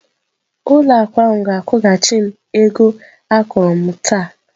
Ụlọ akụ ahụ ga-akwụghachi m ego akwụrụ m taa.